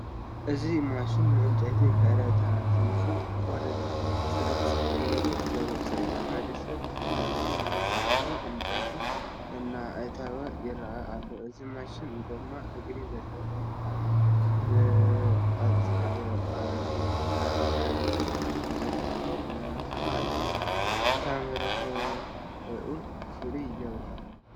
እዚ ማሽን ንዕንጨይቲ ከረታቲፉ ቁርፅራፅ ገይሩ ዘውፅእ እዩ፡፡ ሓደ ሰብ ናብዚ መሳርሒ ዕንጨይቲ እናእተወ ይርአ ኣሎ፡፡ እዚ ማሽን ጐማ እግሪ ዘለዎ ብምዃኑ ብቐሊሉ ካብ ናብ ምንቅስቓስ ምክኣሉ ከዓ ሩብሕኡ ፍሉይ ይገብሮ፡፡